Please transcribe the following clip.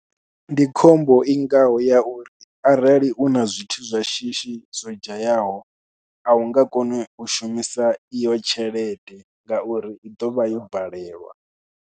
Ndi khombo i ngaho ya uri arali u na zwithu zwa shishi zwo dzhayaho, a u nga koni u shumisa iyo tshelede ngauri i ḓovha yo valelwa.